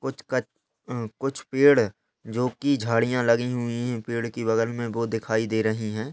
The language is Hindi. कुछ कच्छ कुछ पेड़ जो की झाड़ियां लगी हुई हैं पेड़ के बगल में वो दिखाई दे रही हैं।